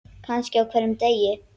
Kannski á hverjum degi.